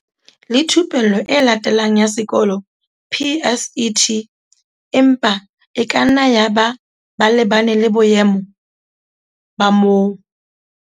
le Thupello e Latelang ya Sekolo, PSET, empa e kanna yaba ba lebane le boemo moo ba.